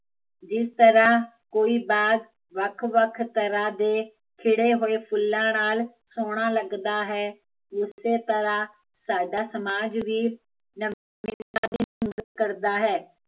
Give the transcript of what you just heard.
ਇਸ ਤਰਾਂ ਕੋਈ ਬਾਗ਼ ਵੱਖ ਵੱਖ ਤਰਾਂ ਦੇ ਖਿੜੇ ਹੋਏ ਫੁੱਲਾਂ ਨਾਲ਼ ਸੋਹਣਾ ਲੱਗਦਾ ਹੈ ਉਸੇ ਤਰਾਂ ਸਾਡਾ ਸਮਾਜ ਵੀ ਕਰਦਾ ਹੈ